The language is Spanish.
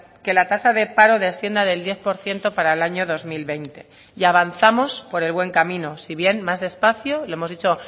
que la tasa de paro descienda del diez por ciento para el año dos mil veinte y avanzamos por el buen camino si bien más despacio lo hemos dicho